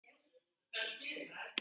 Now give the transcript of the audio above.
Svona var Lúlli.